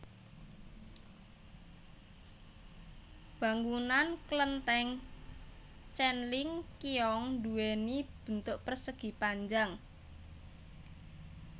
Bangunan kelenteng Tjen Ling Kiong duwéni bentuk persegi panjang